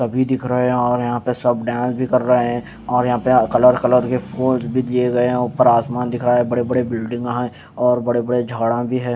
भी दिख रहे हैं और यहाँ पे सब डांस भी कर रहे हैं और यहाँ पे कलर कलर के फूल भी दिए गए हैं ऊपर आसमान दिख रहा है बड़े-बड़े बिल्डिंग हैं और बड़े-बड़े झाड़ भी हैं।